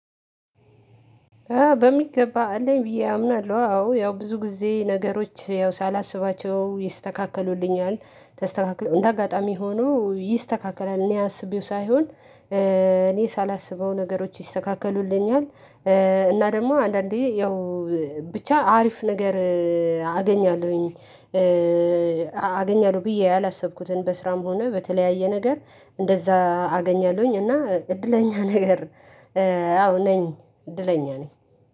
በሚገባ አለኝ ብዬ አምናለሁ አዎ ያው ብዙ ጊዜ ነገሮች ያው ሳላስባቸው ይስተካከሉልኛል። እንደ አጋጣሚ ሆኖ ይስተካከላል እኔ አስቤው ሳይሆን። እኔ ሳላስበው ነገሮች ይስተካከሉልኛል። እና ደግሞ አንዳንዴ ያው ብቻ አሪፍ ነገር አገኛለሁኝ። አገኛለሁ ብዬ ያላሰብኩትን በስራም ሆነ በተለያየ ነገር እንደዛ አገኛለሁኝ እና እድለኛ ነገር። አዎ ነኝ እድለኛ ነኝ።